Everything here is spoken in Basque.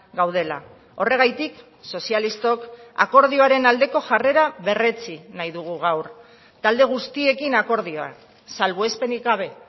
gaudela horregatik sozialistok akordioaren aldeko jarrera berretsi nahi dugu gaur talde guztiekin akordioa salbuespenik gabe